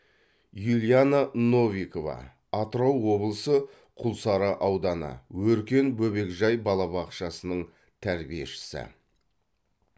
юлиана новикова атырау облысы құлсары ауданы өркен бөбекжай балабақшасының тәрбиешісі